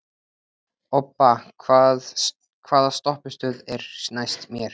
Obba, hvaða stoppistöð er næst mér?